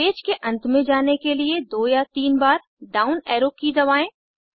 इस पेज के अंत में जाने के लिए दो या तीन बार डाउन एरो की दबाएं